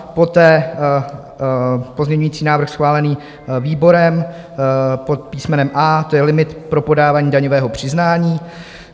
Poté pozměňovací návrh schválený výborem pod písmenem A, to je limit pro podávání daňového přiznání.